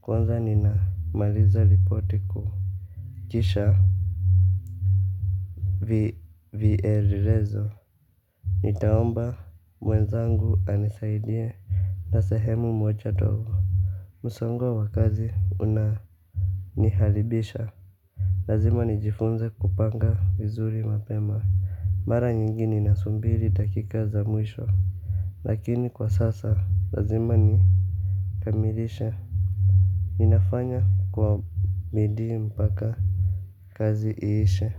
Kwanza ninamaliza ripoti ku kisha viererezo. Nitaomba mwenzangu anisaidie. Na sehemu moja dogo msongo wa kazi unaniharibisha. Lazima nijifunze kupanga vizuri mapema. Mara nyingi nina sumbiri dakika za mwisho. Lakini kwa sasa, lazima nikamilishe. Ninafanya kwa midi mpaka kazi iishe.